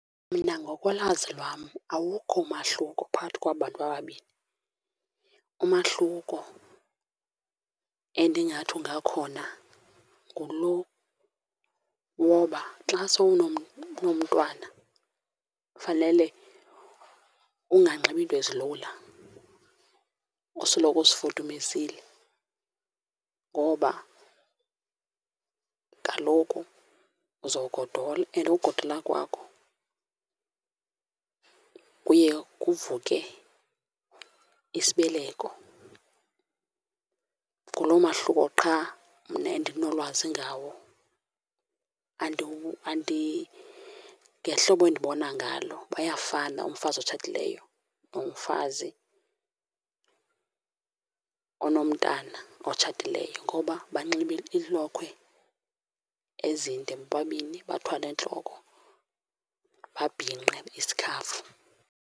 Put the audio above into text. Mna ngokolwazi lwam awukho umahluko phakathi kwaba bantu babini. Umahluko endingathi ungakhona ngulo woba xa unomntwana fanele unganxibi into ezilula, usoloko uzifudumezile. Ngoba kaloku uzogodola and ukugodola kwakho kuye kuvuke isibeleko. Nguloo mahluko qha mna endinolwazi ngawo. Ngehlobo endibona ngalo bayafana umfazi otshatileyo nomfazi onomntana otshatileyo ngoba banxiba iilokhwe ezinde bobabini, bathwale entloko, babhinqe isikhafu.